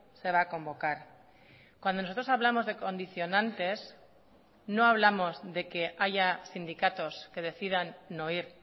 se va a convocar cuando nosotros hablamos de condicionantes no hablamos de que haya sindicatos que decidan no ir